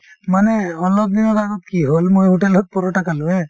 মানে অলপ দিনৰ আগত কি হল মই hotel ত paratha খালো haa